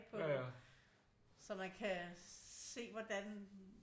På øh så man kan se hvordan